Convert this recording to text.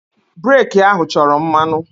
Breeki ahụ chọrọ mmanụ.